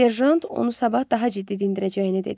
Serjant onu sabah daha ciddi dindirəcəyini dedi.